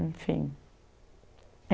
Enfim.